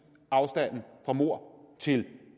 at afstanden fra mord til